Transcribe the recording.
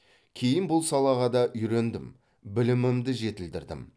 кейін бұл салаға да үйрендім білімімді жетілдірдім